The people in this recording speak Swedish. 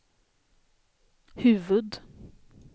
huvud